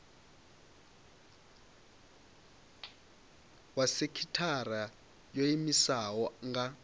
wa sekithara yo iimisaho nga